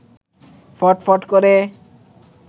ফটফট করে